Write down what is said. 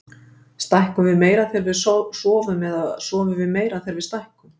Stækkum við meira þegar við sofum eða sofum við meira þegar við stækkum?